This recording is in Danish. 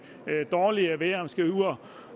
dårlige vejr